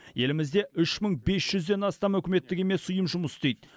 елімізде үш мың бес жүзден астам үкіметтік емес ұйым жұмыс істейді